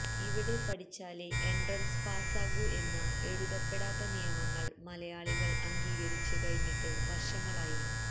ഇവിടെ പഠിച്ചാലെ എൻട്രൻസ് പാസാകൂ എന്ന എഴുതപ്പെടാത്ത നിയമങ്ങൾ മലയാളികൾ അംഗീകരിച്ച് കഴിഞ്ഞിട്ട് വർഷങ്ങളായി